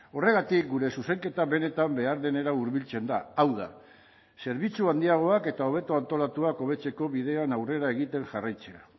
horregatik gure zuzenketa benetan behar denera hurbiltzen da hau da zerbitzu handiagoak eta hobeto antolatuak hobetzeko bidean aurrera egiten jarraitzea